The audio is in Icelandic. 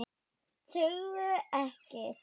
Sögðu ekkert.